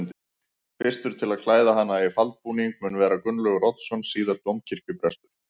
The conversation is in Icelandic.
Fyrstur til að klæða hana í faldbúning mun vera Gunnlaugur Oddsson síðar dómkirkjuprestur.